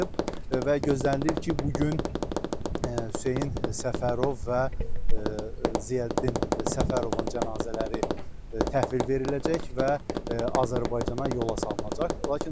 Və gözlənilir ki, bu gün Hüseyn Səfərov və Ziyəddin Səfərovun cənazələri təhvil veriləcək və Azərbaycana yola salınacaq.